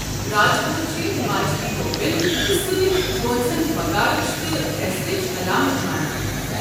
راج پوٗت چھِ ہماچلی ٹوپٮ۪ن تہٕ سۭتۍ گونٛژھٕن وقارٕچ تہٕ عٮ۪زتٕچ علامتھ مانان۔